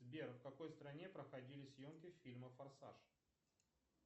сбер в какой стране проходили съемки фильма форсаж